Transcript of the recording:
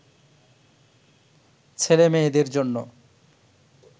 ছেলে মেয়েদের জন্য